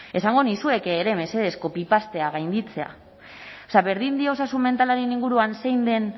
esango nizueke ere mesedez copy paste gainditzea berdin dio osasun mentalaren inguruan zein den